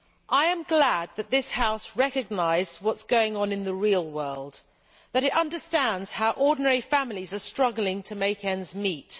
I am glad this House recognised what is going on in the real world, and that it understands how ordinary families are struggling to make ends meet.